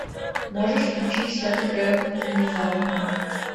можешь включить вся такая внезапная